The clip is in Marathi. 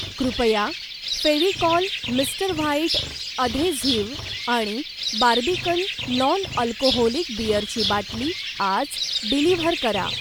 कृपया फेव्हिकॉल मिस्टर व्हाईट अधेझिव्ह आणि बार्बिकन नॉन अल्कोहोलिक बिअरची बाटली आज डिलिव्हर करा.